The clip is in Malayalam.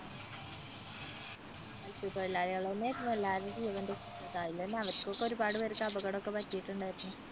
മത്സ്യത്തൊഴിലാളികൾ തന്നെയായിരുന്നു എല്ലാവരുടെയും ജീവൻ രക്ഷിച്ചത് അയില് തന്നെ അവർക്കൊക്കെ ഒരുപാട് പേർക്ക് അപകടം ഒക്കെ പറ്റിയിട്ടുണ്ടായിരുന്നു.